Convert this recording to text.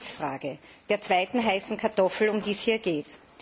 Nun zur Sitzfrage, der zweiten heißen Kartoffel, um die es hier geht.